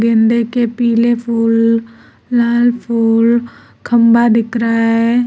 गेंदे के पीले फूल लाल फूल खंभा दिख रहा है।